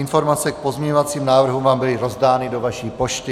Informace k pozměňovacím návrhům vám byly rozdány do vaší pošty.